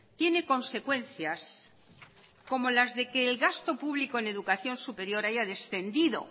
tiene consecuencias como las de que el gasto público en educación superior haya descendido